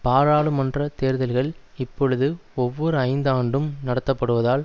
பாராளுமன்ற தேர்தல்கள் இப்பொழுது ஒவ்வொரு ஐந்து ஆண்டும் நடத்தப்படுவதால்